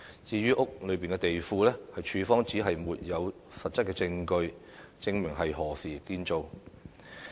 至於屋內的地庫，署方指沒有實質證據，證明是何時建造的。